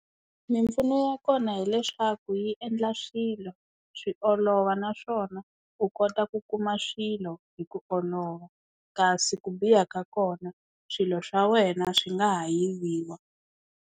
Mimpfuno ya kona hileswaku yi endla swilo swi olova naswona u kota ku kuma swilo hi ku olova kasi ku biha ka kona swilo swa wena swi nga ha yiviwa.